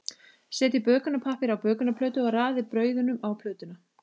Setjið bökunarpappír á bökunarplötu og raðið brauðunum á plötuna.